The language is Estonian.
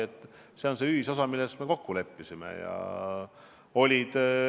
Lepingus on see ühisosa, milles me kokku leppisime.